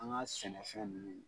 An ka sɛnɛfɛn minnu